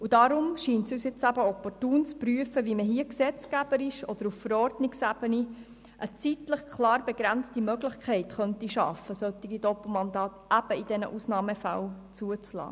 Deshalb scheint es uns opportun, zu prüfen, wie man gesetzgeberisch oder auf Verordnungsebene eine zeitlich klar begrenzte Möglichkeit schaffen kann, solche Doppelmandate in Ausnahmefällen zuzulassen.